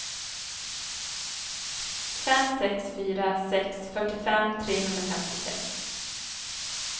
fem sex fyra sex fyrtiofem trehundrafemtiosex